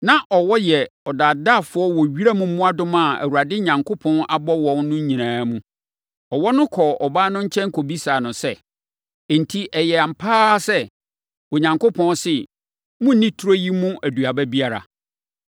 Na ɔwɔ yɛ ɔdaadaafoɔ wɔ wiram mmoadoma a Awurade Onyankopɔn abɔ wɔn no nyinaa mu. Ɔwɔ no kɔɔ ɔbaa no nkyɛn kɔbisaa no sɛ, “Enti, ɛyɛ ampa ara sɛ, Onyankopɔn se, ‘Monnni turo yi mu aduaba biara?’ ”